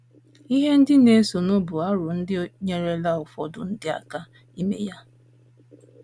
Ihe ndị na - esonụ bụ aro ndị nyeerela ụfọdụ ndị aka ime ya.